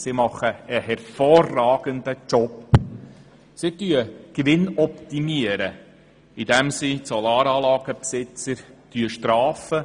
Sie leistet hervorragende Arbeit, denn die optimiert ihren Gewinn, indem sie die Besitzer von Solaranlagen bestraft.